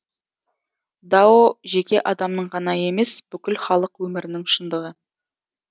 дао жеке адамның ғана емес бүкіл халық өмірінің шындығы